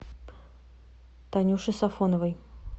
танюшей сафоновой